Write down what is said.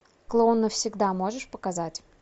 клоун навсегда можешь показать